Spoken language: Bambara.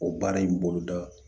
O baara in boloda